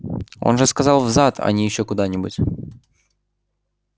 он же сказал в зад а не ещё куда-нибудь